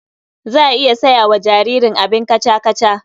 Za a iya saya wa jaririn abin kaca-kaca.